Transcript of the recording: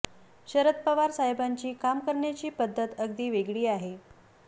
शरद पवार साहेबांची काम करण्याची पद्धत अगदी वेगळी आहे